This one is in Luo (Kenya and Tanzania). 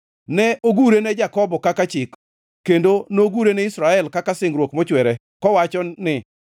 Ne ogure ne Jakobo kaka chik, kendo nogure ni Israel kaka singruok mochwere, kowacho ni,